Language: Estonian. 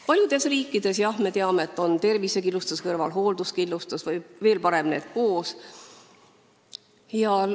Paljudes riikides, jah, me teame, on tervisekindlustuse kõrval hoolduskindlustus, või veel parem, need on koos.